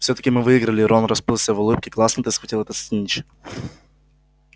всё-таки мы выиграли рон расплылся в улыбке классно ты схватил этот снитч